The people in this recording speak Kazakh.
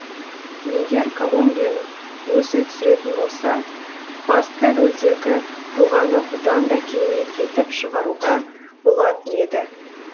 егер колумбияның өзі түсіретін болса басты рөлдегі тұлғаны бұдан да керемет етіп шығаруға болатын еді